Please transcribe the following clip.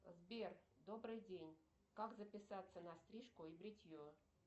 сбер добрый день как записаться на стрижку и бритье